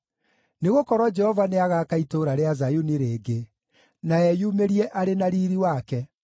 Nĩgũkorwo Jehova nĩagaaka itũũra rĩa Zayuni rĩngĩ, na eyumĩrie arĩ na riiri wake.